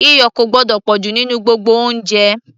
iyọ̀ kò gbọ́dọ̀ pọ̀jù nínú gbogbo oúnjẹ